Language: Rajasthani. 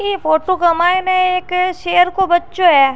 इ फोटो क माइने एक शेर को बच्चो है।